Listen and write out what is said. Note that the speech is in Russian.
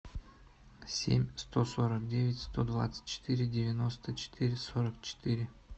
семь сто сорок девять сто двадцать четыре девяносто четыре сорок четыре